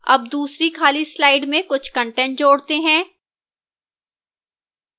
add दूसरी खाली slide में कुछ कंटेंट जोड़ते हैं